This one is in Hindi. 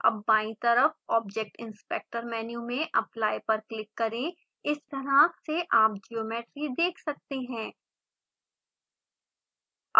अब बायीं तरफ object inspector मेन्यू में apply पर क्लिक करें इस तरह से आप ज्योमेट्री देख सकते हैं